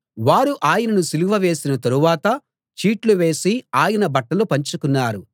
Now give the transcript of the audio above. వారు ఆయనను సిలువ వేసిన తరవాత చీట్లు వేసి ఆయన బట్టలు పంచుకున్నారు